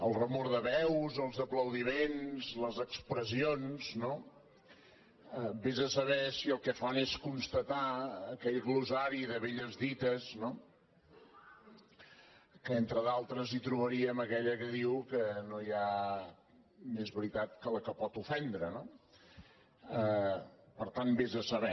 la remor de veus els aplaudiments les expressions vés a saber si el que fan és constatar aquell glossari de velles dites que entre d’altres hi trobaríem aquella que diu que no hi ha més veritat que la que pot ofendre no per tant vés a saber